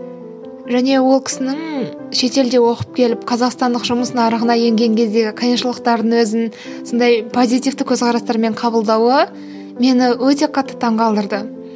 және ол кісінің шетелде оқып келіп қазақстандық жұмыс нарығына енген кездегі қиыншылықтарын өзін сондай позитивті көзқарастармен қабылдауы мені өте қатты таң қалдырды